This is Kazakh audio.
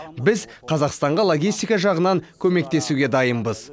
біз қазақстанға логистика жағынан көмектесуге дайынбыз